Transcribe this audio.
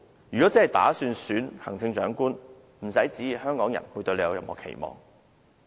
如果她真的打算參選行政長官，不要旨意香港人對她有期望。